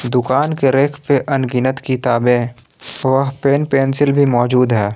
दुकान के रैक पे अनगिनत किताबें वह पेन पेंसिल भी मौजूद है।